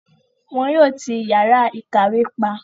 wọn yóò ti yàrá ìkàwé pa.